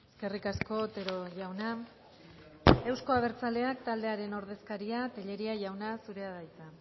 eskerrik asko otero jauna euzko abertzaleak taldearen ordezkaria tellería jauna zurea da hitza